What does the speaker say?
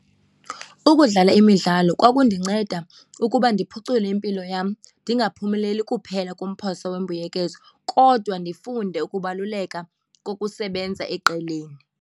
Ukudlala imidlalo kwakundinceda ukuba ndiphucule impilo yam ndingaphumeleli kuphela kumphosa wembuyekezo kodwa ndifunde ukubaluleka kokusebenza eqeleni.